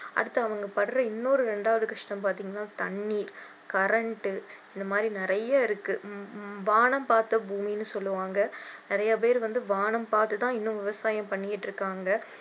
அடுத்து அவங்க படற இன்னொரு இரண்டாவது கஷ்டம் பார்த்தீங்கன்னா தண்ணீர் current உ இந்த மாதிரி நிறைய இருக்கு வானம் பார்த்த பூமின்னு சொல்லுவாங்க நிறைய பேரு வந்து வானம் பார்த்து தான் இன்னும் விவசாயம் பண்ணிக்கிட்டு இருக்காங்க